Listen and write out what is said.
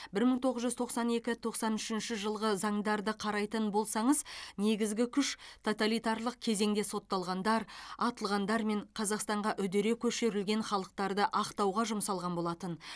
бір мың тоғыз жүз тоқсан екі тоқсан үшінші жылғы заңдарды қарайтын болсаңыз негізгі күш тоталитарлық кезеңде сотталғандар атылғандар мен қазақстанға үдере көшілірген халықтарды ақтауға жұмсалған болатын